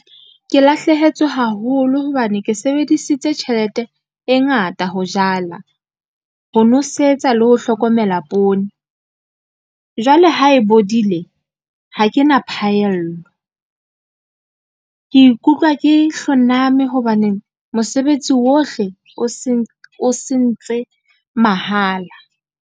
Ke lahlehetswe haholo hobane ke sebedisitse tjhelete e ngata ho jala, ho nosetsa le ho hlokomela poone. Jwale ha e bodile, ha ke na phaello ke ikutlwa ke hloname hobaneng mosebetsi o ohle o sentse mahala.